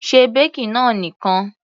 Se baking náà nìkan.